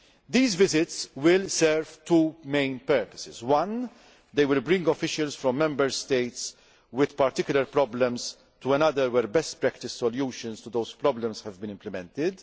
These visits will serve two main purposes. Firstly, they will bring officials from Member States with particular problems to another where best practice solutions to those problems have been implemented.